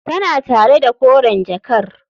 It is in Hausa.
Tana tare da koren jakar.